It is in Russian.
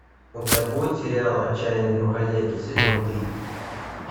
у тебя будет сериал отчаянные домохозяйки сезон три